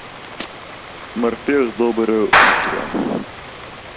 морпех доброе утро